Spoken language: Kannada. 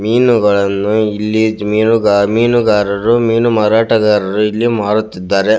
ಮೀನುಗಳನ್ನು ಇಲಿ ಮೀನುಗಾರರಾಉ ಮೀನು ಮಾರಾಟಗಾರರು ಇಲ್ಲಿ ಮಾರಾಟ ಮಾಡುತ್ತಿದ್ದಾರೆ.